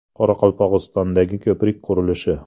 Qoraqalpog‘istondagi ko‘prik qurilishi.